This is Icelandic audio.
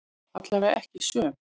Allavega ekki söm.